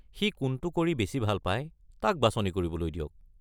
সি কোনটো কৰি বেছি ভাল পাই, তাক বাছনি কৰিবলৈ দিয়ক।